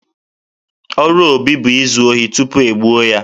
Ọrụ Obi bụ izu ohi tupu e gbuo ya